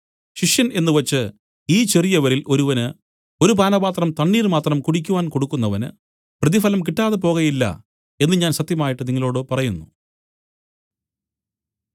ശിഷ്യൻ എന്നു വെച്ച് ഈ ചെറിയവരിൽ ഒരുവന് ഒരു പാനപാത്രം തണ്ണീർ മാത്രം കുടിക്കുവാൻ കൊടുക്കുന്നവന് പ്രതിഫലം കിട്ടാതെ പോകയില്ല എന്നു ഞാൻ സത്യമായിട്ട് നിങ്ങളോടു പറയുന്നു